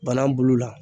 Bana bulu la